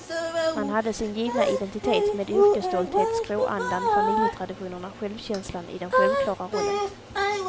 Man hade sin givna identitet, med yrkesstolthet, skråandan, familjetraditionerna, självkänslan i den självklara rollen.